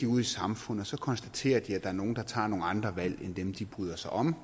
ud i samfundet og så konstaterer de at der er nogle der tager nogle andre valg end dem de bryder sig om